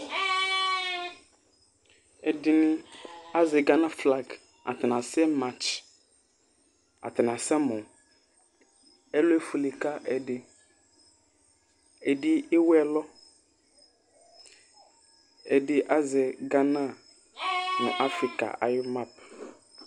Ɛɖiŋi azɛ Ghana flag ataŋi asɛ march Ataŋi asɛ mɔ Ɛlu efʋele kʋ ɛɖì Ɛdí awu ɛlɔ Ɛɖì azɛ Ghana ŋu Africa ayʋ map